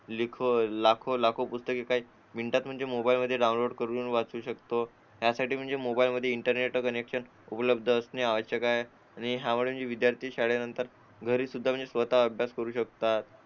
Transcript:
लिखो लाखो पुस्तके म्हणजे मोबाईलवर डाउनलोड करून वाचू शकतो यासाठी म्हणजे मोबाईलवर इंटरने कनेक्शन उपलब्ध असणे आवश्यक आहे आणि हा विद्यार्थी शाळेनंतर घरी म्हणजे स्वतः अभ्यास करू शकतो